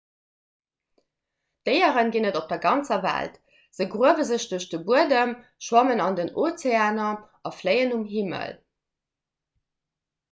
déiere ginn et op der ganzer welt se gruewe sech duerch de buedem schwammen an den ozeaner a fléien um himmel